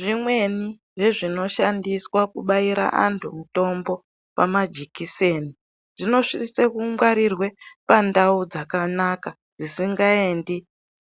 Zvimweni zvezvinoshandiswa kubayira antu mitombo pamajikiseni zvinosise kungwarirwe pantau dzakanaka dzisingaendi